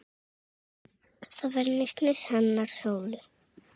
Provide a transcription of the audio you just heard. Það var nistið hennar Sólu.